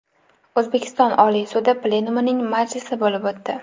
O‘zbekiston Oliy sudi plenumining majlisi bo‘lib o‘tdi.